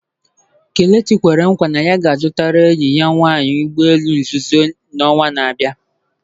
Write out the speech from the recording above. Kelechi kwere nkwa na ya ga-azụta enyi ya nwanyị ụgbọ elu nzuzo n'ọnwa na-abịa